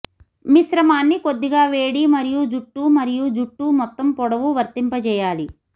మిశ్రమాన్ని కొద్దిగా వేడి మరియు జుట్టు మరియు జుట్టు మొత్తం పొడవు వర్తింప చేయాలి